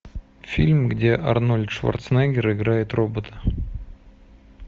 фильм где арнольд шварценеггер играет робота